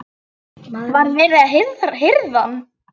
Var verið að hirða hann?